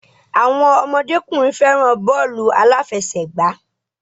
Àwọn ọmọdékùnrin fẹràn bọ́ọ̀lù aláfẹ̀sẹgbà.